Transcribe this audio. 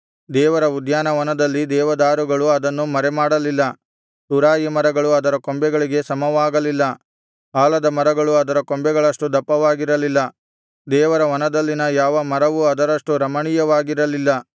ದೇವರ ಉದ್ಯಾನವನದಲ್ಲಿನ ದೇವದಾರುಗಳು ಅದನ್ನು ಮರೆಮಾಡಲಿಲ್ಲ ತುರಾಯಿ ಮರಗಳು ಅದರ ಕೊಂಬೆಗಳಿಗೆ ಸಮವಾಗಲಿಲ್ಲ ಆಲದ ಮರಗಳು ಅದರ ಕೊಂಬೆಗಳಷ್ಟು ದಪ್ಪವಾಗಿರಲಿಲ್ಲ ದೇವರ ವನದಲ್ಲಿನ ಯಾವ ಮರವೂ ಅದರಷ್ಟು ರಮಣೀಯವಾಗಿರಲಿಲ್ಲ